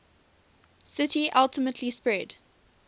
city ultimately spread